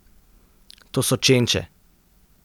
To so čenče.